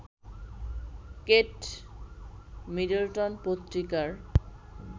Kate Middleton পত্রিকার